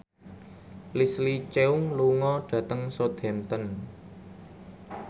Leslie Cheung lunga dhateng Southampton